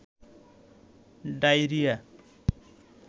diarrhoea